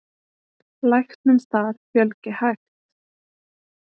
Læknum þar fjölgi hægt.